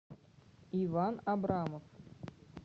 иван абрамов